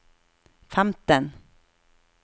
femten